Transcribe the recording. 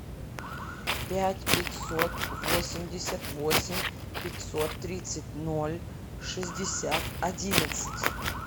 пять пятьсот восемьдесят восемь пятьсот тридцать ноль шестьдесят одиннадцать